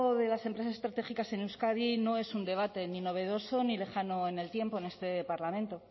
de las empresas estratégicas en euskadi no es un debate ni novedoso ni lejano en el tiempo en este parlamento